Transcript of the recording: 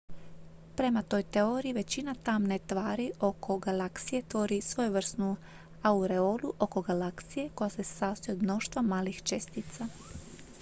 prema toj teoriji većina tamne tvari oko galaksija tvori svojevrsnu aureolu oko galaksije koja se sastoji od mnoštva malih čestica